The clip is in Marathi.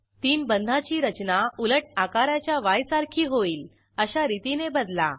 तीन बंधाची रचना उलट आकाराच्या य सारखी होईल अशा रितीने बदला